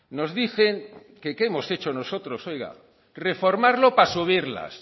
nos dicen que qué hemos hecho nosotros oiga reformarlo para subirlas